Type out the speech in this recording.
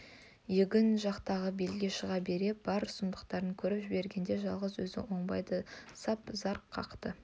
егін жақтағы белге шыға бере бар сұмдықты көріп жібергенде жалғыз өзі ойбайды сап зар қақты